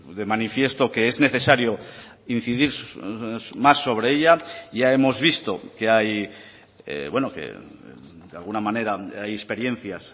de manifiesto que es necesario incidir más sobre ella ya hemos visto que hay de alguna manera hay experiencias